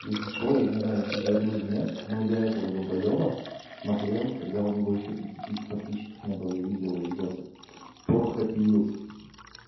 если что я не знаю тебе говорила нет но я этого долбоеба смотрел когда у него ещё пять тысяч подписчиков не был я видел видосы про капи вилс